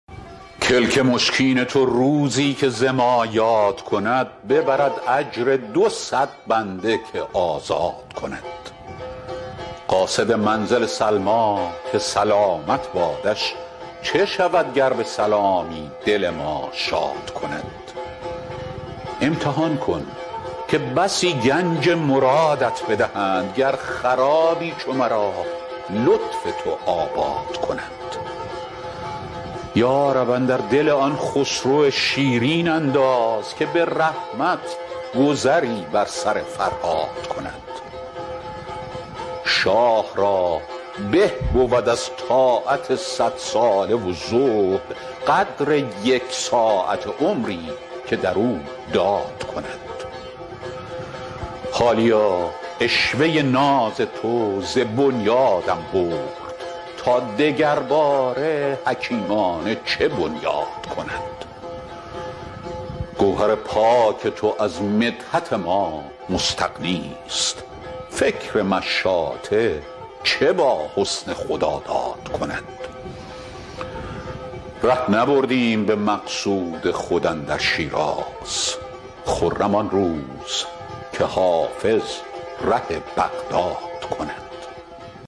کلک مشکین تو روزی که ز ما یاد کند ببرد اجر دو صد بنده که آزاد کند قاصد منزل سلمیٰ که سلامت بادش چه شود گر به سلامی دل ما شاد کند امتحان کن که بسی گنج مرادت بدهند گر خرابی چو مرا لطف تو آباد کند یا رب اندر دل آن خسرو شیرین انداز که به رحمت گذری بر سر فرهاد کند شاه را به بود از طاعت صدساله و زهد قدر یک ساعته عمری که در او داد کند حالیا عشوه ناز تو ز بنیادم برد تا دگرباره حکیمانه چه بنیاد کند گوهر پاک تو از مدحت ما مستغنیست فکر مشاطه چه با حسن خداداد کند ره نبردیم به مقصود خود اندر شیراز خرم آن روز که حافظ ره بغداد کند